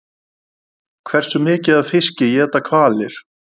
Hversu mikið af fiski éta hvalir?